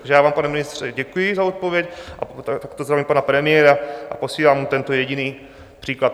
Takže já vám, pane ministře, děkuji za odpověď a takto zdravím pana premiéra a posílám mu tento jediný příklad.